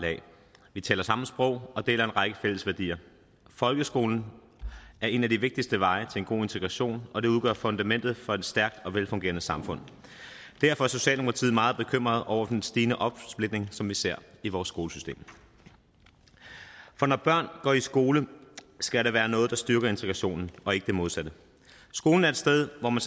lag vi taler samme sprog og deler en række fælles værdier folkeskolen er en af de vigtigste veje til en god integration og det udgør fundamentet for et stærkt og velfungerende samfund derfor er socialdemokratiet meget bekymrede over den stigende opsplitning som vi ser i vores skolesystem når børn går i skole skal det være noget der styrker integrationen og ikke det modsatte skolen er et sted hvor man